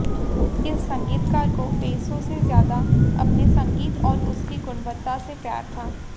इस संगीतकार को पैसों से ज्यादा अपने संगीत और उसकी गुणवत्ता से प्यार था